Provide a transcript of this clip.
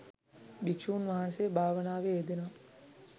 භික්ෂූන් වහන්සේ භාවනාවේ යෙදෙනව